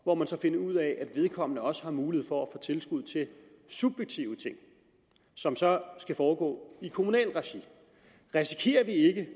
hvor man så finder ud af at vedkommende også har mulighed for at få tilskud til subjektive ting som så skal foregå i kommunalt regi risikerer vi ikke